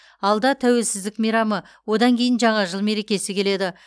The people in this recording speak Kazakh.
алда тәуелсіздік мейрамы одан кейін жаңа жыл мерекесі келеді